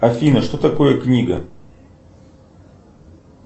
афина что такое книга